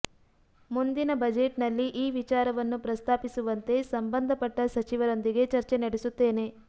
ಮುಂದಿನ ಬಜೆಟ್ನಲ್ಲಿ ಈ ವಿಚಾರವನ್ನು ಪ್ರಸ್ತಾ ಪಿಸುವಂತೆ ಸಂಬಂಧಪಟ್ಟ ಸಚಿವರೊಂದಿಗೆ ಚರ್ಚೆ ನಡೆಸುತ್ತೇನೆ